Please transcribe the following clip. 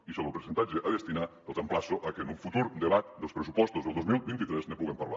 i sobre el percentatge a destinar els emplaço a que en un futur debat dels pressupostos del dos mil vint tres ne puguem parlar